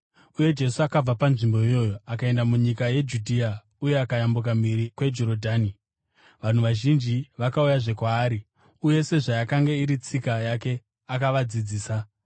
Uye Jesu akabva panzvimbo iyoyo akaenda munyika yeJudhea uye akayambuka mhiri kweJorodhani. Vanhu vazhinji vakauyazve kwaari, uye sezvayakanga iri tsika yake, akavadzidzisa.